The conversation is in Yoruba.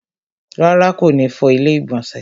Rárá, kò ní fọ ilẹ́ ìgbọ̀nsẹ̀